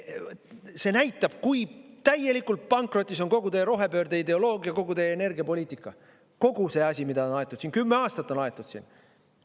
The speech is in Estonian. See näitab, kui täielikult pankrotis on kogu teie rohepöörde ideoloogia, kogu teie energiapoliitika, kogu see asi, mida on aetud siin, kümme aastat on aetud siin.